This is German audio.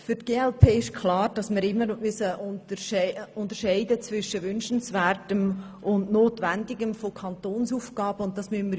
Für die glp ist klar, dass wir bei den Kantonsaufgaben immer zwischen dem Wünschenswerten und dem Notwendigen unterscheiden müssen.